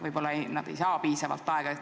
Võib-olla need ei saa piisavalt aega?